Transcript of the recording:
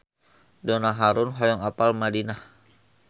Donna Harun hoyong apal Madinah